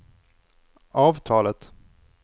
avtalet